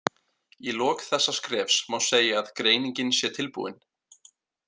Í lok þessa skrefs má segja að greiningin sé tilbúin.